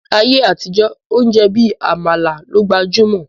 Ni ayé àtijọ́, oúnjẹ bí Àmàlà ló gbajúmọ̀